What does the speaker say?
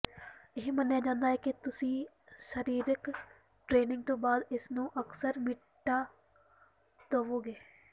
ਇਹ ਮੰਨਿਆ ਜਾਂਦਾ ਹੈ ਕਿ ਤੁਸੀਂ ਸਰੀਰਕ ਟਰੇਨਿੰਗ ਤੋਂ ਬਾਅਦ ਇਸ ਨੂੰ ਅਕਸਰ ਮਿਟਾ ਦੇਵੋਗੇ